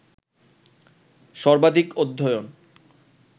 সবার্ধিক অধ্যয়ন